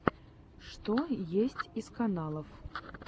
что есть из каналов